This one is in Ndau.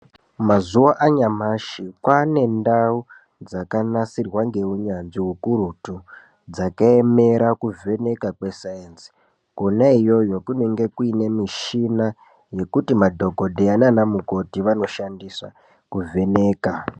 Mazuwa anyamashi kwaane ndau dzakanasirwa ngeuyanzvi ukurutu dzakaemera kuvheneka kwesainzi kwona iyoyo kunenge kuine mishina yekuti madhokodheya nana mukoti vanoshandisa kuvheneka.